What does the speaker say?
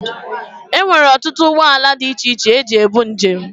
Enwere ọtụtụ ụgbọ ala dị iche iche eji ebu njem.